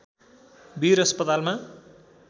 वीर अस्पतालमा